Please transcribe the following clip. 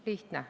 Lihtne.